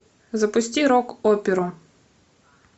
запусти рок оперу